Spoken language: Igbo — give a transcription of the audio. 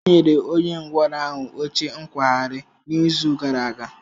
E nyere onye ngwọrọ ahụ oche nkwagharị n'izu gara aga.